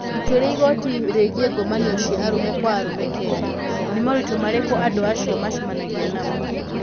Itua rĩa igoti rĩgiĩ ngomanio cia arũme kwa arũme Kenya: Nĩ moritũ marĩkũ andũ acio macemanagia namo?